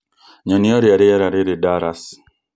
nyonia ũrĩa rĩera rĩrĩ Dallas